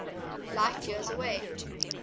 light years away